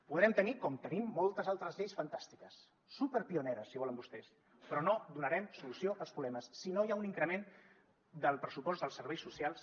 podrem tenir com tenim moltes altres lleis fantàstiques superpioneres si volen vostès però no donarem solució als problemes si no hi ha un increment del pressupost dels serveis socials